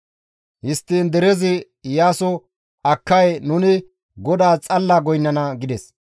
Histtiin derezi Iyaaso, «Akkay nuni GODAAS xalla goynnana» gides.